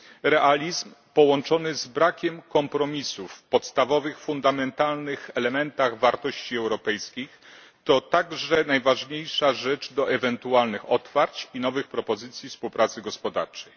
Realizm połączony z brakiem kompromisów w zakresie podstawowych, fundamentalnych elementów wartości europejskich to także najważniejsza rzecz do ewentualnych otwarć i nowych propozycji współpracy gospodarczej.